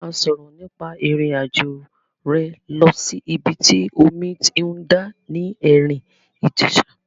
A máa sọ̀rọ̀ nípa ìrìn àjò rẹ lọ sí ìbi tí omi ti ń dà ní Erin Ijesa.